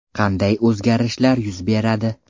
Qanday o‘zgarishlar yuz beradi?